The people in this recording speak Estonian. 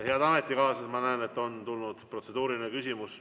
Head ametikaaslased, ma näen, et on tulnud protseduuriline küsimus.